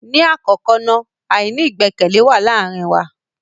Ni akọkọ na, aini igbẹkẹle wa laarin wa.